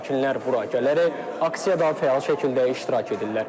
Sakinlər bura gələrək aksiyada fəal şəkildə iştirak edirlər.